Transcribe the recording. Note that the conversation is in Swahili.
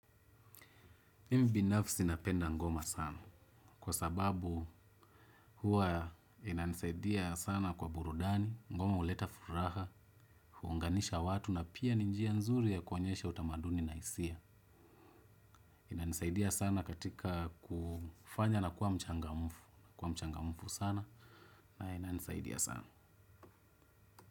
Mbinafsi napenda ngoma sana. Kwa sababu huwa inanisaidia sana kwa burudani, ngoma huleta furaha, huunganisha watu na pia ni njia nzuri ya kuonyesha utamaduni na hisia. Inanisaidia sana katika kufanya na kuwa mchangamufu. Kwa mchangamufu sana na inanisaidia sana.